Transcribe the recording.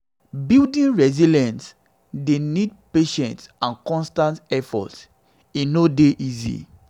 building resilience dey need patience and consis ten t effort; e no dey easy. no dey easy.